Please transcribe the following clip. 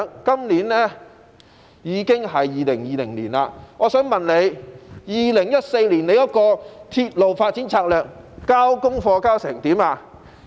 今年已經是2020年，我想問局長，就2014年的鐵路發展策略，他的功課做得怎樣？